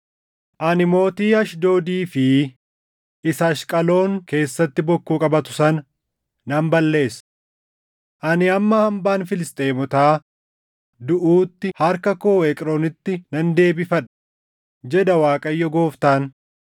Ani mootii Ashdoodii fi isa Ashqaloon keessatti bokkuu qabatu sana nan balleessa. Ani hamma hambaan Filisxeemotaa duʼuutti harka koo Eqroonitti nan deebifadha” jedha Waaqayyo Gooftaan.